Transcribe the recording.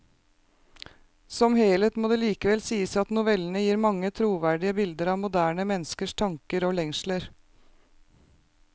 Som helhet må det likevel sies at novellene gir mange troverdige bilder av moderne menneskers tanker og lengsler.